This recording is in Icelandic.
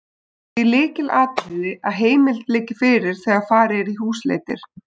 Það er því lykilatriði að heimild liggi fyrir þegar farið er í húsleitir.